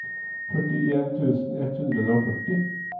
førtien tusen ett hundre og førti